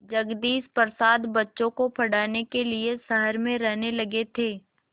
जगदीश प्रसाद बच्चों को पढ़ाने के लिए शहर में रहने लगे थे